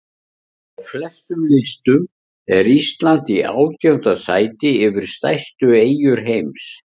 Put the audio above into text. Á flestum listum er Ísland í átjánda sæti yfir stærstu eyjur heims.